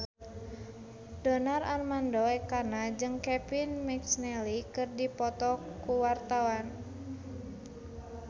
Donar Armando Ekana jeung Kevin McNally keur dipoto ku wartawan